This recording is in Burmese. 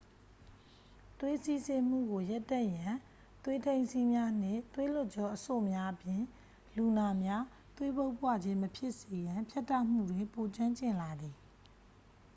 သွေးစီးဆင်းမှုကို ရပ်တန့်ရန် သွေးထိန်းစည်းများနှင့် သွေးလွှတ်ကြောအဆို့များအပြင် လူနာများ သွေးပုပ်ပွခြင်းမဖြစ်စေရန် ဖြတ်တောက်မှုတွင် ပိုကျွမ်းကျင်လာသည်